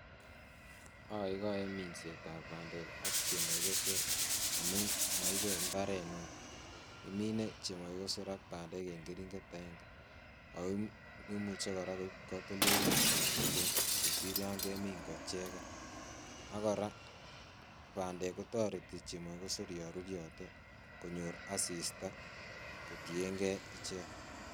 Okoikoe minsetab bandek ak chemokikosor amuun moibe imbaret neoo, iminee chemokikosor ak bandek en kering'et akeng'e ak ko imuche kora koib kotoldoleiwek chetuten kosir yoon kemin ko icheken, ak kora bandek kotoreti chemokikosor yoon ruryote konyor asista kotieng'e ichek.